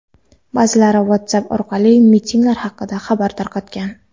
Ba’zilari WhatsApp orqali mitinglar haqida xabar tarqatgan.